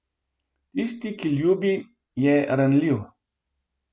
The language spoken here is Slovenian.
Tisti, ki ljubi, je ranljiv.